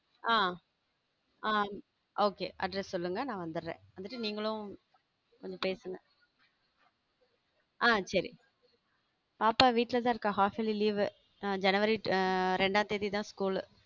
ஹம் ஹம் okay address சொல்லுங்க நான் வந்துடறேன் வந்துட்டு நீங்களும் கொஞ்சம் பேசுங்க ஹம் சரி பாப்பா வீட்ல தான் இருக்கா half yearly leave அ ஜனவரி இர~ ஜனவரி இரண்டுஆம் தேதி தான் school